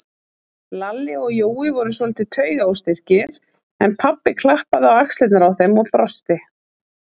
Lalli og Jói voru svolítið taugaóstyrkir, en pabbi klappaði á axlirnar á þeim og brosti.